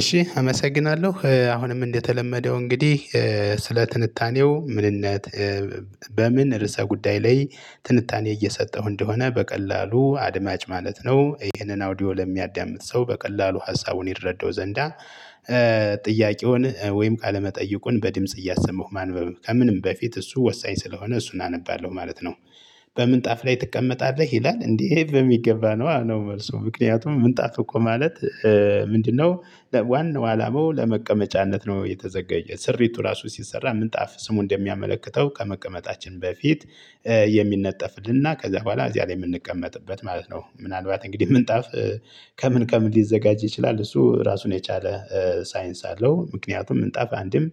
እሺ አመሰግናለሁ አሁንም እንደተለመደው እንግዲህ ስለ ትንታኔው ምንነት በምን ርዕሰ ጉዳይ ላይ ትንታኔ እየሰጠሁ እንደሆነ በቀላሉ አድማጭ ማለት ነው። ይሄንን አውዲዮ ለሚያዳምጥ ሰው በቀላሉ ሀሳቡን ይረዳው ዘንዳ ጥያቄውን ወይም ቃለ መጠይቁን በድምጽ እያሰማሁ ማንበብ ከምንም በፊት እሱ ወሳኝ ስለሆነ እሱን አነባለሁ ማለት ነው። በምንጣፍ ላይ ትቀመጣለህ ይላል እንዴ? በሚገባ ነዋ ነው። መልሱ ምክንያቱም ምንጣፍ እኮ ማለት ምንድነው? ዋናው አላማው ለመቀመጫነት ነው። የተዘገየ ስሪቱ ራሱ ሲሰራ ምንጣፍ ስሙ እንደሚያመለክተው ከመቀመጣችን በፊት የሚነጠፍልንና ከዛ በኋላ እዚያ ላይ የምንቀመጥበት ማለት ነው። ምናልባት እንግዲህ ምንጣፍ ከምን ከምን ሊዘጋጅ ይችላል? እሱ ራሱን የቻለ ሳይንስ አለው። ምክንያቱም ምንጣፍ አንዴም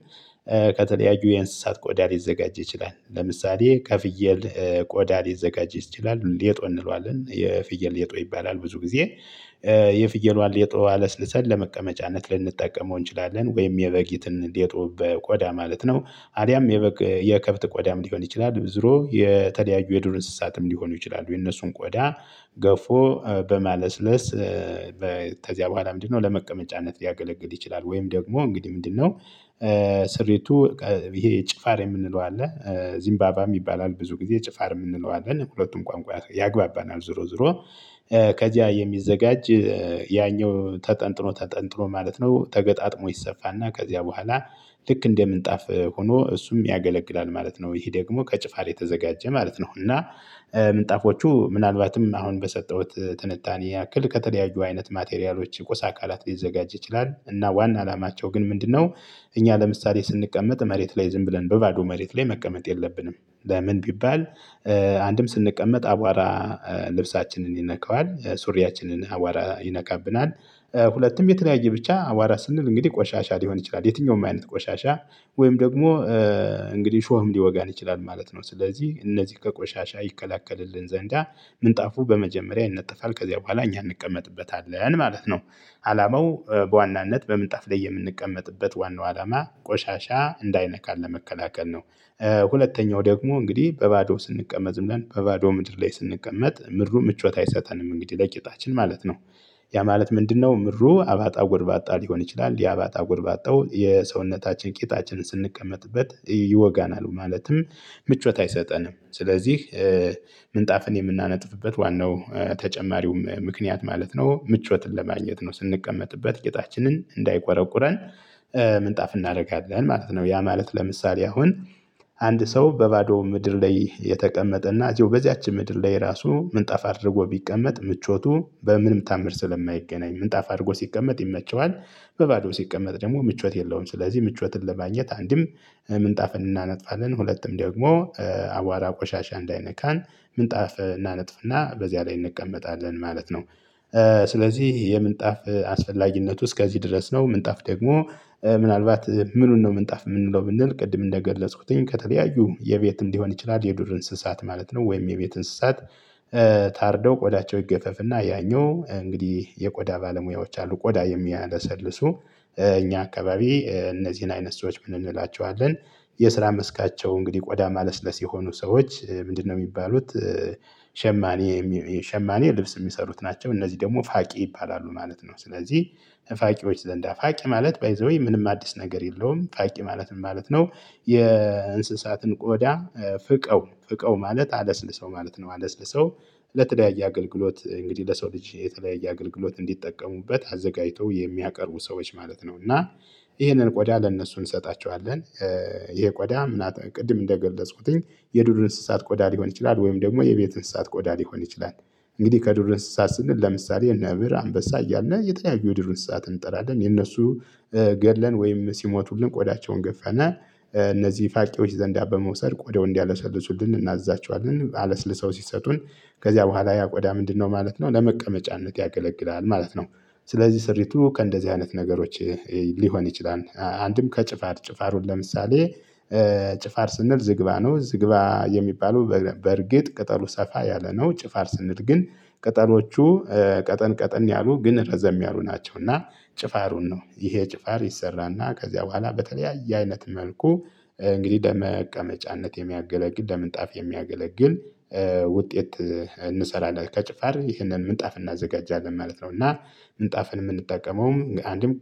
ከተለያዩ የእንስሳት ቆዳ ሊዘጋጅ ይችላል። ለምሳሌ ከፍየል ቆዳ ሊዘጋጅ ይችላል። ሌጦ እንለዋለን የፍየል ሌጦ ይባላል። ብዙ ጊዜ የፍየሏን ሌጦ አለስልሰን ለመቀመጫነት ልንጠቀመው እንችላለን። ወይም የበጊትን ሌጦ በቆዳ ማለት ነው አልያም የበግ የከብት ቆዳም ሊሆን ይችላል። ዙሮ የተለያዩ የዱር እንስሳትም ሊሆኑ ይችላሉ። የነሱን ቆዳ ገፎ በማለስለስ በኋላ ምንድነው ለመቀመጫነት ሊያገለግል ይችላል። ወይም ደግሞ እንግዲህ ምንድነው? ስሪቱ ጭፋር የምንለው አለ። ዝምባባ የሚባላል ብዙ ጊዜ ጭፋርም እንለዋለን ሁለቱም ቋንቋ ያግባባናል። ዞሮ ዞሮ ከዚያ የሚዘጋጅ ያኛው ተጠንጥኖ ተጠንጥኖ ማለት ነው። ተገጣጥሞ ይሰፋና ከዚያ በኋላ ልክ እንደ ምንጣፍ ሆኖ እሱም ያገለግላል ማለት ነው። ይሄ ደግሞ ከጭፋር የተዘጋጀ ማለት ነው። እና ምንጣፎቹ ምናልባትም አሁን በሰጠሁት ትንታኔ ያክል ከተለያዩ አይነት ማቴሪያሎች ቁስ አካላት ሊዘጋጅ ይችላል። እና ዋና አላማቸው ግን ምንድነው? እኛ ለምሳሌ ስንቀመጥ መሬት ላይ ዝም ብለን በባዶ መሬት ላይ መቀመጥ የለብንም። ለምን ቢባል? አንድም ስንቀመጥ አቧራ ልብሳችንን ይነካዋል ሱሪያችንን አቧራ ይነካብናል። ሁለቱም የተለያየ ብቻ አቧራ ስንል እንግዲህ ቆሻሻ ሊሆን ይችላል። የትኛውም አይነት ቆሻሻ ወይም ደግሞ እንግዲህ ሾህም ሊወጋን ይችላል ማለት ነው። ስለዚህ እነዚህ ከቆሻሻ ይከላከልልን ዘንዳ ምንጣፉ በመጀመሪያ ይነጠፋል ከዚያ በኋላ እኛ እንቀመጥበታለን ማለት ነው። አላማው በዋናነት በምንጣፍ ላይ የምንቀመጥበት ዋናው አላማ ቆሻሻ እንዳይነካን ለመከላከል ነው። ሁለተኛው ደግሞ እንግዲህ በባዶ ስንቀመጥ ዝም ብለን በባዶ ምድር ላይ ስንቀመጥ ምድሩ ምቾት አይሰጠንም እንግዲህ ለቂጣችን ማለት ነው። ያ ማለት ምንድነው? ምድሩ አባጣ ጎርባጣ ሊሆን ይችላል የአባጣ ጎርባጣው የሰውነታችን ቂጣችን ስንቀመጥበት ይወጋናል ማለትም። ምቾት አይሰጠንም። ስለዚህ ምንጣፍን የምናነጥፍበት ዋናው ተጨማሪውም ምክንያት ማለት ነው። ምቾትን ለማግኘት ነው። ስንቀመጥበት ቂጣችንን እንዳይቆረቁረን ምንጣፍ እናደርጋለን ማለት ነው። ያ ማለት ለምሳሌ አሁን አንድ ሰው በባዶ ምድር ላይ የተቀመጠ እና እዚሁ በዚያች ምድር ላይ ራሱ ምንጣፍ አድርጎ ቢቀመጥ ምቾቱ በምንም ታምር ስለማይገናኝ ምንጣፍ አድርጎ ሲቀመጥ ይመቸዋል። በባዶ ሲቀመጥ ደግሞ ምቾት የለውም። ስለዚህ ምቾትን ለማግኘት አንድም ምንጣፍን እናነጥፋለን ሁለቱም ደግሞ አቧራ ቆሻሻ እንዳይነካን ምንጣፍ እናነጥፍና በዚያ ላይ እንቀመጣለን ማለት ነው። ስለዚህ የምንጣፍ አስፈላጊነቱ እስከዚህ ድረስ ነው። ምንጣፍ ደግሞ ምናልባት ምኑን ነው ምንጣፍ የምንለው ብንል ቅድም እንደገለጽኩትኝ ከተለያዩ የቤትም ሊሆን ይችላል። የዱር እንስሳት ማለት ነው። ወይም የቤት እንስሳት። ታርደው ቆዳቸው ይገፈፍና ያኛው እንግዲህ የቆዳ ባለሙያዎች አሉ። ቆዳ የሚያለሰልሱ እኛ አካባቢ እነዚህን አይነት ሰዎች ምን እንላቸዋለን? የስራ መስካቸው እንግዲህ ቆዳ ማለስለስ የሆኑ ሰዎች ምንድነው የሚባሉት? ሸማኔ ሸማኔ ልብስ የሚሰሩት ናቸው እነዚህ ደግሞ ፋቂ ይባላሉ ማለት ነው። ስለዚህ ፋቂዎች ዘንዳ ፋቂ ማለት ባይ ዘ ዌይ ምንም አዲስ ነገር የለውም። ፋቂ ማለት ምን ማለት ነው? የእንስሳትን ቆዳ ፍቀው ፍቀው ማለት አለስልሰው ማለት ነው። አለስልሰው ለተለያየ አገልግሎት እንግዲህ ለሰው ልጅ የተለያየ አገልግሎት እንዲጠቀሙበት አዘጋጅቶ የሚያቀርቡ ሰዎች ማለት ነው። እና ይሄንን ቆዳ ለእነሱ እንሰጣቸዋለን። ይሄ ቆዳ ምና ቅድም እንደገለጽኩትኝ የዱዱ እንስሳት ቆዳ ሊሆን ይችላል። ወይም ደግሞ የቤት እንስሳት ቆዳ ሊሆን ይችላል። እንግዲህ ከዱር እንስሳት ስንል ለምሳሌ ነብር አንበሳ እያልነ የተለያዩ የድር እንስሳት እንጠራለን። የነሱ ገድለን ወይም ሲሞቱልን ቆዳቸውን ገፋና እነዚህ ፋቂዎች ዘንዳ በመውሰድ ቆደው እንዲያለሰልሱልን እናዛቸዋለን። አለስልሰው ሲሰጡን ከዚያ በኋላ ያ ቆዳ ምንድነው ማለት ነው ለመቀመጫነት ያገለግላል ማለት ነው። ስለዚህ ስሪቱ ከእንደዚህ አይነት ነገሮች ሊሆን ይችላል። አንድም ከጭፋር ጭፋሩን ለምሳሌ ጭፋር ስንል ዝግባ ነው። ዝግባ የሚባለው በእርግጥ ቅጠሉ ሰፋ ያለ ነው። ጭፋር ስንል ግን ቅጠሎቹ ቀጠን ቀጠን ያሉ ግን ረዘም ያሉ ናቸው። እና ጭፋሩን ነው ይሄ ጭፋር ይሰራና ከዚያ በኋላ በተለያየ አይነት መልኩ እንግዲህ ለመቀመጫነት የሚያገለግል ለምንጣፍ የሚያገለግል ውጤት እንሰራለን። ከጭፋር ይህንን ምንጣፍ እናዘጋጃለን ማለት ነው። እና ምንጣፍን የምንጠቀመውም አንድም